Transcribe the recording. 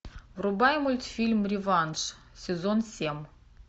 врубай мультфильм реванш сезон семь